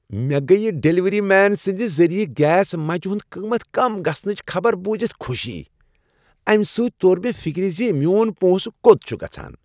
مےٚ گٔیہ ڈلیوری مین سٕند ذریع گیس مچہ ہنٛد قیمت کم گژھنٕچ خبر بوٗزتھ خوشی۔ امہ سۭتۍ توٚر مےٚ فکر ز میون پونسہٕ کوٚت چھُ گژھان۔